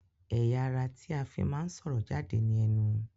Ẹyà ará tí a fí máa ń sọ̀rọ̀ jáde ní enu